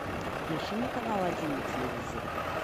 включи мне канал один на телевизоре